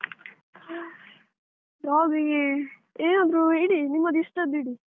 Dog ಗಿಗೆ ಏನಾದ್ರು ಇಡಿ ನಿಮ್ಮದು ಇಷ್ಟದ್ದು ಇಡಿ.